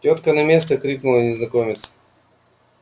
тётка на место крикнул ей незнакомец